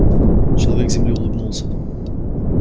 человек с земли улыбнулся